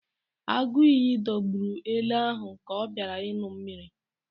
Agụiyi dọgburu ele ahụ ka ọ bịara ịṅụ mmiri